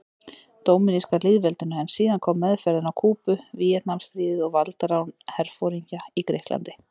Dóminíska lýðveldinu, en síðan kom meðferðin á Kúbu, Víetnamstríðið og valdarán herforingja í Grikklandi.